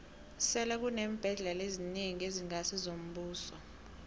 sele kuneembhendlela ezinengi ezingasi ngezombuso